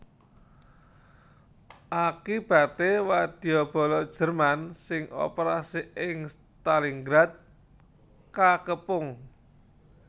Akibaté wadyabala Jerman sing operasi ing Stalingrad kakepung